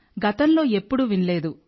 గతంలో ఎప్పుడూ వినలేదు